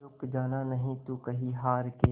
रुक जाना नहीं तू कहीं हार के